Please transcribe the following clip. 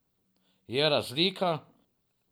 Je razlika.